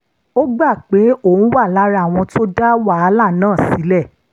ó gbà pé òun wà lára àwọn tó dá wàhálà náà sílẹ̀